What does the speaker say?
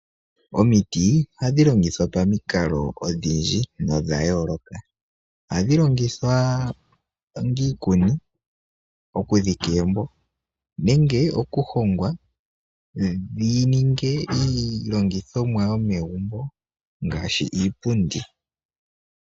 Omiti ohadhi longithwa pamikalo odhindji no dha yooloka. Ohadhi longithwa onga iikuni, oku dhika egumbo, nenge oku hongwa dhi ninge iilongithomwa yo megumbo, ngaashi iipundi.